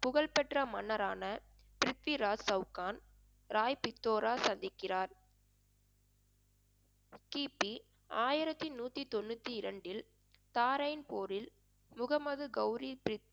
புகழ்பெற்ற மன்னரான பிரித்விராஜ் சவுகான் ராய் பித்தோரா சந்திக்கிறார் கிபி ஆயிரத்தி நூத்தி தொண்ணூத்தி இரண்டில் தாரைன்பூரில் முகமது கௌரி